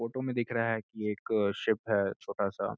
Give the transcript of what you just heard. Photo में दिख रहा है कि एक शिप है छोटा-सा।